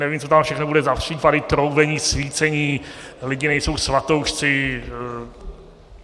Nevím, co tam všechno bude za případy: troubení, svícení, lidi nejsou svatoušci.